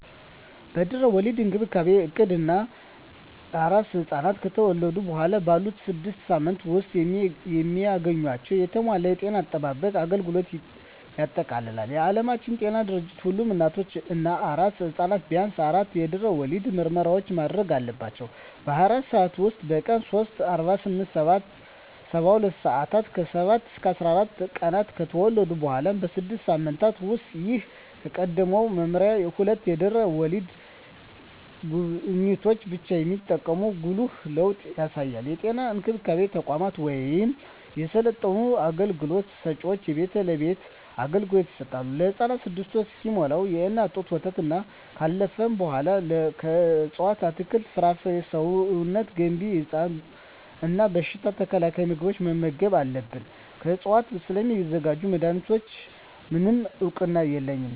የድህረ ወሊድ እንክብካቤ እቅድ እናቶች እና አራስ ሕፃናት ከተወለዱ በኋላ ባሉት ስድስት ሳምንታት ውስጥ የሚያገኟቸውን የተሟላ የጤና አጠባበቅ አገልግሎቶችን ያጠቃልላል። የዓለም ጤና ድርጅት ሁሉም እናቶች እና አራስ ሕፃናት ቢያንስ አራት የድህረ ወሊድ ምርመራዎችን ማድረግ አለባቸው - በ24 ሰዓት ውስጥ፣ በቀን 3 (48-72 ሰአታት)፣ ከ7-14 ቀናት እና ከተወለዱ በኋላ ባሉት 6 ሳምንታት ውስጥ። ይህ ከቀድሞው መመሪያ ሁለት የድህረ ወሊድ ጉብኝቶችን ብቻ የሚጠቁም ጉልህ ለውጥ ያሳያል። የጤና እንክብካቤ ተቋማት ወይም የሰለጠኑ አገልግሎት ሰጭዎች የቤት ለቤት አገልግሎት ይሰጣሉ። ለህፃኑም 6ወር እስኪሞላው የእናት ጡት ወተትና ካለፈው በኃላ ከእፅዋት አትክልት፣ ፍራፍሬ ሰውነት ገንቢ እና በሽታ ተከላካይ ምግቦችን መመገብ አለብን። ከዕፅዋት ስለሚዘጋጁ መድኃኒቶች፣ ምንም እውቅና የለኝም።